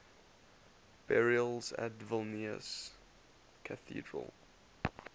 burials at vilnius cathedral